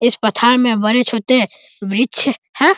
इस पठान में बड़े छोटे वृक्ष है।